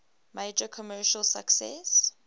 major commercial success